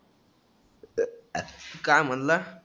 इथं काय म्हणला?